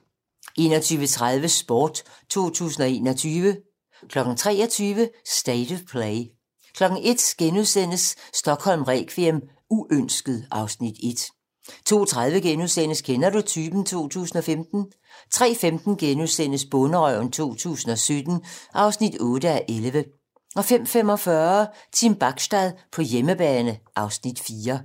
21:30: Sport 2021 23:00: State of Play 01:00: Stockholm requiem: Uønsket (Afs. 1)* 02:30: Kender du typen? 2015 * 03:15: Bonderøven 2017 (8:11)* 05:45: Team Bachstad på hjemmebane (Afs. 4)